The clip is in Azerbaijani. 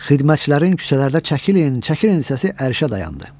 Xidmətçilərin küçələrdə çəkilin, çəkilin səsi ərşə dayandı.